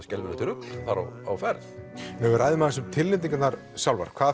skelfilegt rugl á ferð ef við ræðum aðeins um tilnefningarnar sjálfar hvað